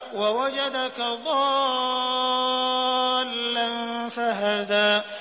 وَوَجَدَكَ ضَالًّا فَهَدَىٰ